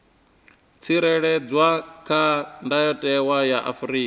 tsireledzwa kha ndayotewa ya afrika